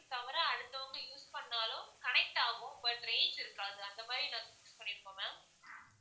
தவிர அடுத்தவங்க use பண்ணினாலும் connect ஆகும் but range இருக்காது அந்த மாதிரி நாங்க fix பண்ணிருக்கோம் ma'am